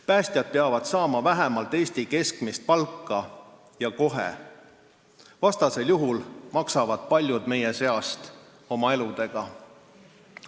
Päästjad peavad saama vähemalt Eesti keskmist palka ja kohe, vastasel juhul maksavad paljud meie seast oma eluga.